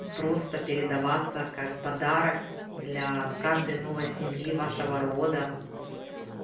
просто передаваться как подарок для каждой новой семьи вашего рода